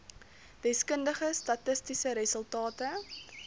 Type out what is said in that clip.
deskundige statistiese resultate